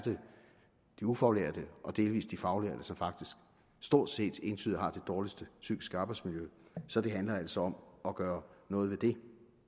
de ufaglærte og delvis de faglærte som faktisk stort set entydigt har det dårligste psykiske arbejdsmiljø så det handler altså om at gøre noget ved det